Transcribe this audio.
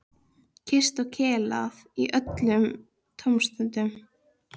Kysst og kelað í öllum tómstundum.